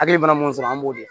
Hakili mana mun sɔrɔ an b'o de